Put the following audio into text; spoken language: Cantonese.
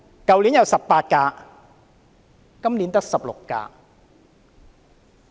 去年有18輛，今年只有16輛。